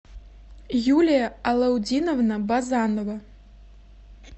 юлия алаутдиновна базанова